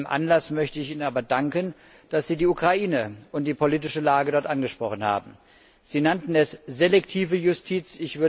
Aus aktuellem Anlass möchte ich Ihnen aber danken, dass Sie die Ukraine und die politische Lage dort angesprochen haben. Sie nannten es selektive Justiz.